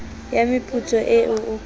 ya meputso eo ho ka